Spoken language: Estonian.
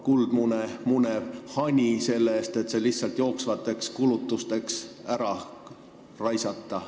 Kuldmune munev hani müüakse ära, et saadud raha lihtsalt jooksvateks kulutusteks ära raisata.